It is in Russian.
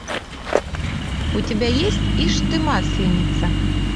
у тебя есть ишь ты масленица